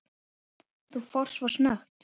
Þú fórst svo snöggt.